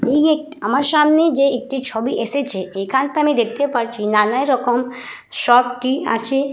এই একটি আমার সামনে যে একটি ছবি এসেছে এখানটা আমি দেখতে পাচ্ছি নানান রকম শপ টি আছে।